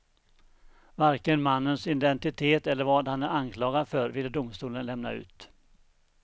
Varken mannens identitet eller vad han är anklagad för ville domstolen lämna ut.